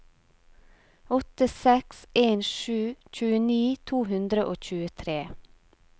åtte seks en sju tjueni to hundre og tjuetre